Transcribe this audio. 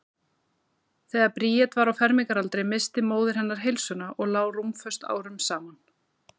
Þegar Bríet var á fermingaraldri missti móðir hennar heilsuna og lá rúmföst árum saman.